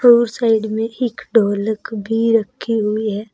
और साइड में एक ढोलक भी रखी हुई है।